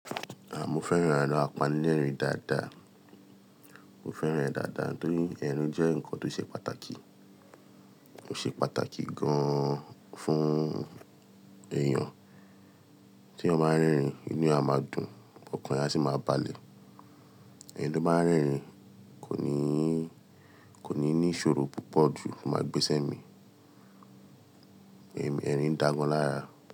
À, mo fẹ́ràn àpánírìn dàda. Mo fẹ́ràn ẹ dáadáa nítorí ẹrin jẹ́ nǹkan tó ṣe pàtàkì. Ó ṣe pàtàkì gan-an fún èèyàn. Tí eeyan baa n rerin, inú eeyan a máa dùn, ọkàn ẹ a sì máa balẹ̀. Ẹni tó bá ń rerin kò ní, kò ní ní ìṣòro púpọ̀ jù tó máa gbesẹ̀ mi. Ẹmi-- ẹrin dàa gàn lára.